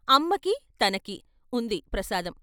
అమ్మకీ, తనకీ ఉంది ప్రసాదం.